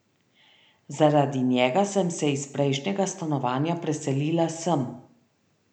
Zaradi njega sem se iz prejšnjega stanovanja preselila sem.